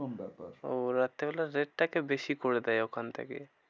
এরকম ব্যাপার। ওহ রাত্রিবেলায় rate টা কে বেশি করে দেয় ওখান থেকেই।